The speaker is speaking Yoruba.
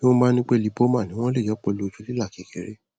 bí wọn bá ní pé lipoma ni wọn lè yọ ọ pẹlú ojú lílà kékeré